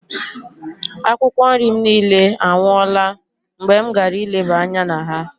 Akwụkwọ nri m niile anwụọla mgbe m gara ileba anya na ha.